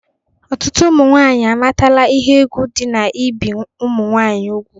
Ọtụtụ ụmụ nwanyị amatala ihe egwu dị n'ibi ụmụ nwanyị ugwu